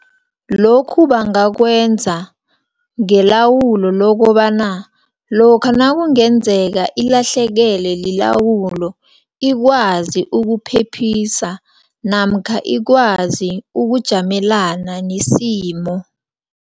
Lokhu bangakwenza, ngelawulo lokobana, lokha nakungenzeka ilahlekele lilawulo, ikwazi ukuphephisa, namkha ikwazi ukujamelana nesimo.